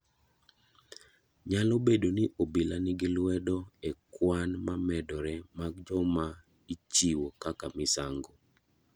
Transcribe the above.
Nyalo bedo ni obila ni gi lwedo e kwan ma medore mag joma ichiwo kaka misango.